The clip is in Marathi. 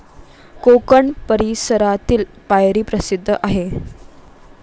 कोकण परिसरातील पायरी प्रसिद्ध आहे.